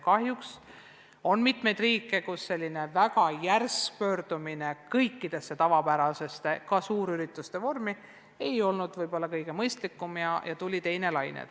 Kahjuks on mitmeid riike, kus väga järsk pöördumine kõige tavapärase, ka suurürituste vormi juurde ei olnud kõige mõistlikum samm ja tuli teine laine.